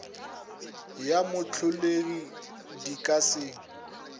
ya moholegi di ka se